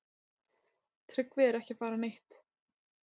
Tryggvi er ekki að fara neitt.